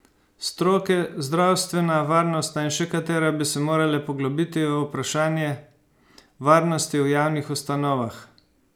Stroke, zdravstvena, varnostna in še katera, bi se morale poglobiti v vprašanje varnosti v javnih ustanovah.